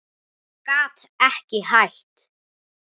Gat ekki hætt.